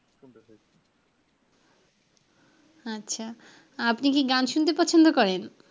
আচ্ছা, আপনি কি গান শুনতে পছন্দ করেন?